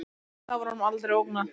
Eftir það var honum aldrei ógnað